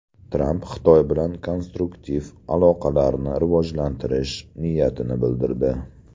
Tramp Xitoy bilan konstruktiv aloqalarni rivojlantirish niyatini bildirdi.